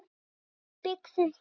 Nú sé byggðin þétt.